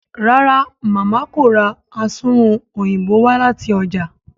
ràrá Mama kò rá Asunrun Òyìnbó wá láti ọjà.